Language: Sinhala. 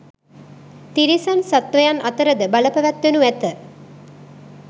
තිරිසන් සත්වයන් අතරද බල පැවැත්වෙනු ඇත.